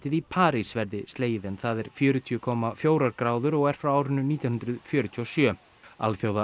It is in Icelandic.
í París verði slegið en það er fjörutíu komma fjórar gráður og er frá árinu nítján hundruð fjörutíu og sjö